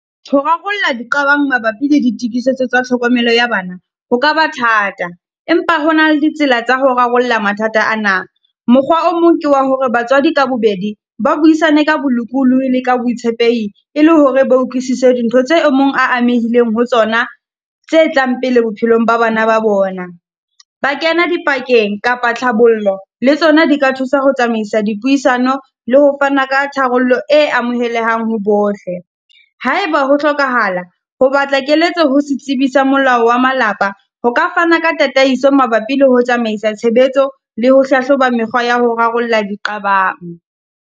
Ho rarolla di qabang mabapi le di tokisetso tsa tlhokomelo ya bana, ho ka ba thata, empa hona le ditsela tsa ho rarolla mathata a na. Mokgwa o mong ke wa hore batswadi ka bobedi, ba buisane ka bolokolohi le ka botshepehi e le hore ba utlwisise dintho tse e mong a amehileng ho tsona tse tlang pele bophelong ba bana ba bona. Ba kena dipakeng kapa tlhabollo le tsona di ka thusa ho tsamaisa dipuisano le ho fana ka tharollo e amohelehang ho bohle. Ha e ba ho hlokahala, ho batla keletso ho setsibi sa molao wa malapa, ho ka fana ka tataiso mabapi le ho tsamaisa tshebetso le ho hlahloba mekgwa ya ho rarolla di qabang.